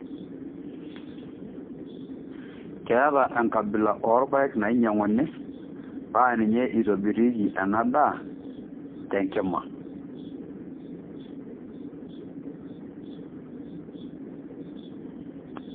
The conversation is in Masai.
Keeta engabila oorpaek nainyiang'uni paa ninye eitobirieki ena ndaa tenkima.